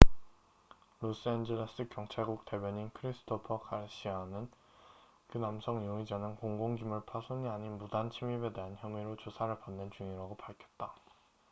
로스엔젤레스 경찰국 대변인 christopher garcia는 그 남성 용의자는 공공 기물 파손이 아닌 무단 침입에 대한 혐의로 조사를 받는 중이라고 밝혔다